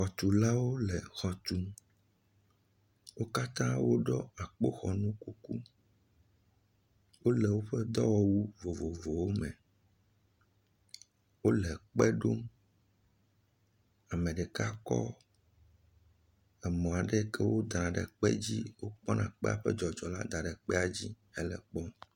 Xɔtulawo le exɔ tum. Wo katã woɖɔ akpoxɔnukuku. Wole woƒe dɔwɔwu vovovowome. Wole kpe ɖom. Ame ɖeka kɔ emɔ̃ aɖe yi ke wodaa ɖe kpe dzi wòkpɔna kpea ƒe dzɔdzɔ la da ɖe kpea dzi hele ekpɔm.